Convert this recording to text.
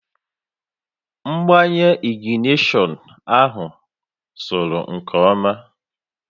Mgbanye ignishọn ahụ sụrụ nke ọma